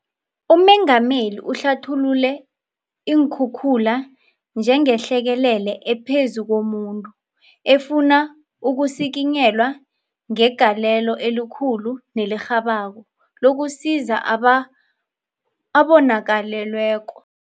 UMengameli uhlathulule iinkhukhula njengehlekelele ephezu komuntu, efuna ukusikinyelwa ngegalelo elikhulu nelirhabako lokusiza abonakalelweko.